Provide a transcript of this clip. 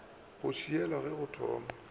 go šiela ge o tsoma